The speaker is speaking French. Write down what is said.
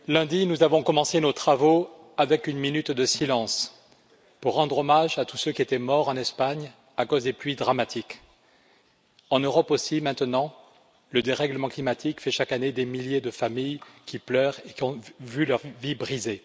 Madame la Présidente, chers amis, lundi, nous avons commencé nos travaux avec une minute de silence pour rendre hommage à tous ceux qui étaient morts en Espagne à cause des pluies dramatiques. En Europe aussi, maintenant, le dérèglement climatique fait chaque année des milliers de familles qui pleurent et qui ont vu leur vie brisée.